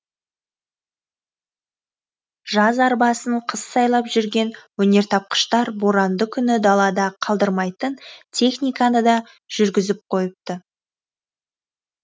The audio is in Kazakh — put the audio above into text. жаз арбасын қыс сайлап жүрген өнертапқыштар боранды күні далада қалдырмайтын техниканы да жүргізіп қойыпты